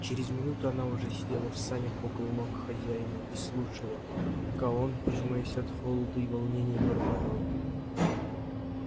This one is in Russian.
через минуту она уже сидела в санях около ног хозяина и слушала ка он пожимаясь от холода и волнения бормотал